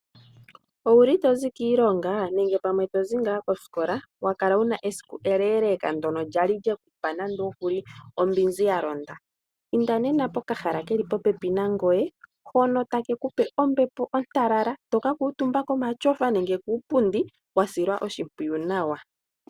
Owuli tozi kiilonga nenge pamwe tozi ngaa kosikola? Wakala pamwe wuna esiku eleeleka ndono lya li lyekupa nande okuli ombinzi ya londa? Inda nena pokahala keli po pepi nangoye hono take ku pe ombepo ontalala toka kuutumba komatyofa nenge kuupundi wa silwa oshimpwiyu nawa.